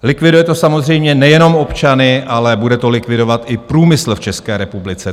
Likviduje to samozřejmě nejenom občany, ale bude to likvidovat i průmysl v České republice.